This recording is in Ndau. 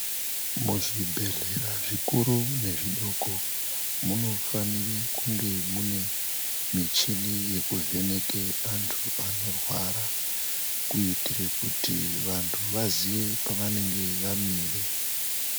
Muzvibhehlera zvikuru nezvidoko munofanire kunge muine michini yekuvheneke vantu vanorwara kuitira kuti vantu vaziye pavanenge vamire.